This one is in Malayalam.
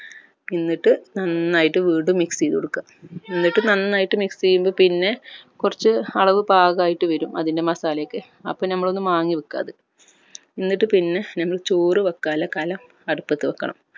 എന്നിട്ട് നന്നായിട്ട് വീണ്ടും mix ചെയ്തുകൊടുക്ക എന്നിട്ട് നന്നായിട്ട് mix ചെയ്യുമ്പോ പിന്നെ കൊർച്ച് അളവ് പാകായിട്ട് വരും അതിൻ്റെ masala ഒക്കെ അപ്പോ അത് നമ്മൾ ഒന്ന് മാങ്ങിവെക്ക അത് എന്നിട്ട് പിന്നെ നമ്മൾ ചോർ വെക്കാനുള്ള കലം അടുപ്പത് വെക്കണം